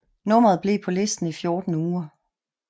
Nummeret blev på listen i 14 uger